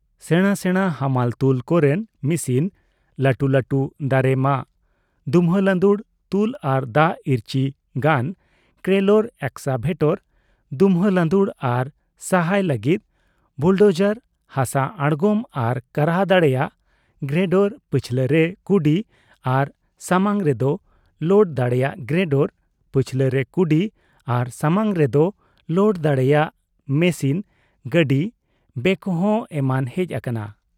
ᱥᱮᱬᱟ ᱥᱮᱬᱟ ᱦᱟᱢᱟᱞ ᱛᱩᱞ ᱠᱚ ᱨᱮᱱ ᱢᱤᱥᱤᱱ, ᱞᱟᱹᱴᱩ ᱞᱟᱹᱴᱩ ᱫᱟᱨᱮ ᱢᱟᱜ , ᱫᱩᱢᱦᱟᱹ ᱺ ᱞᱟᱺᱫᱩᱲ , ᱛᱩᱞ ᱟᱨ ᱫᱟᱜ ᱤᱨᱪᱤ ᱜᱟᱱ ᱠᱨᱚᱞᱚᱨ ᱮᱥᱠᱟᱵᱷᱮᱴᱚᱨ, ᱫᱩᱢᱦᱟᱹ ᱞᱟᱺᱫᱩᱲ ᱟᱨ ᱥᱟᱦᱟᱭ ᱞᱟᱹᱜᱤᱫ ᱵᱩᱞᱰᱚᱡᱟᱨ, ᱦᱟᱥᱟ ᱟᱬᱜᱚᱢ ᱟᱨ ᱠᱟᱨᱦᱟ ᱫᱟᱲᱮᱭᱟᱜ ᱜᱨᱮᱰᱚᱨ, ᱯᱟᱹᱪᱷᱞᱟᱹ ᱨᱮ ᱠᱩᱰᱤ ᱟᱨ ᱥᱟᱢᱟᱟᱝ ᱨᱮᱫᱚ ᱞᱳᱰ ᱫᱟᱲᱮᱭᱟᱜ ᱜᱨᱮᱰᱚᱨ, ᱯᱟᱪᱷᱞᱟᱹ ᱨᱮ ᱠᱩᱰᱤ ᱟᱨ ᱥᱟᱢᱟᱝ ᱨᱮᱫᱚ ᱞᱚᱫ ᱫᱟᱲᱮᱭᱟᱜ ᱢᱮᱥᱤᱱ ᱜᱟᱹᱰᱤ ᱵᱮᱠᱦᱳ, ᱮᱢᱟᱱ ᱦᱮᱡ ᱟᱠᱟᱱᱟ ᱾